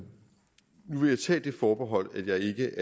vil jeg tage det forbehold at jeg ikke